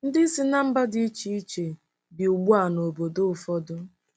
Ndị si ná mba dị iche iche bi ugbu a n'obodo ụfọdụ.